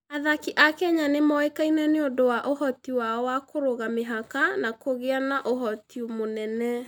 Athaki a Kenya nĩ moĩkaine nĩ ũndũ wa ũhoti wao wa kũrũga mĩhaka na kũgĩa na ũhoti mũnene.